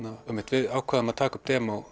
við ákváðum að taka upp